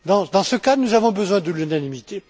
Dans ce cas, nous avons besoin de l'unanimité.